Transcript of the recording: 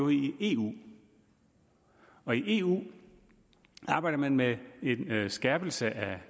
i eu og i eu arbejder man med med en skærpelse